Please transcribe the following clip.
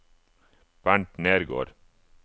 Bernt Nergård